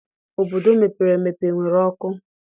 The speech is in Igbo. Obodo mepere emepe enwere ọkụ?